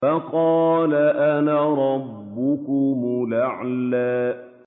فَقَالَ أَنَا رَبُّكُمُ الْأَعْلَىٰ